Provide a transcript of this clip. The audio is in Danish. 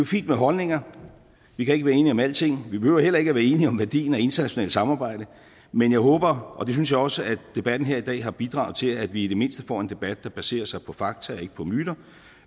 fint med holdninger vi kan ikke være enige om alting vi behøver heller ikke være enige om værdien af internationalt samarbejde men jeg håber og det synes jeg også at debatten her i dag har bidraget til at vi i det mindste får en debat der baserer sig på fakta og ikke på myter